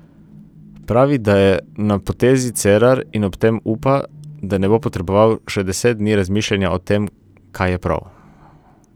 Pravi, da je na potezi Cerar in ob tem upa, da ne bo potreboval še deset dni razmišljanja o tem, kaj je prav.